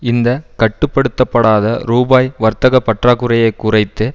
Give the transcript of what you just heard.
இந்த கட்டுப்படுத்தப்படாத ரூபாய் வர்த்தக பற்றாக்குறையை குறைத்து